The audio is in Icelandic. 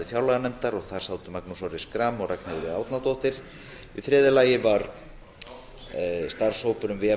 fjárlaganefndar og þar sátu magnús orri schram og ragnheiður e árnadóttir í þriðja lagi var starfshópur um vef